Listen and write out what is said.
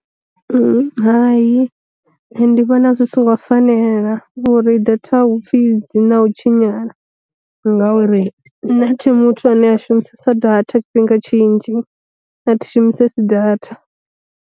Hai ndi vhona zwi songo fanela uri data hupfi dzi na u tshinyala, ngauri nṋe athi muthu ane a shumisesa data tshifhinga tshinzhi a thi shumisesi data.